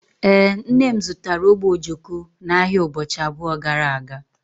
Ee, nne m zụtara ogbe ojoko n'ahịa ụbọchị abụọ gara aga